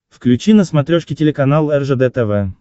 включи на смотрешке телеканал ржд тв